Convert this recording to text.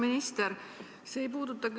Aitäh!